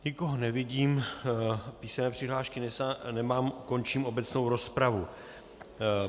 Nikoho nevidím, písemné přihlášky nemám, končím obecnou rozpravu.